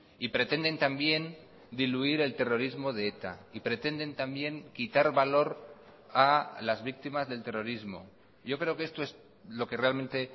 y pretenden también diluir el terrorismo de eta y pretenden también quitar valor a las víctimas del terrorismo yo creo que esto es lo que realmente